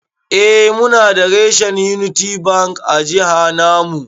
Eh Muna da reshen Unity Bank a jiha namu.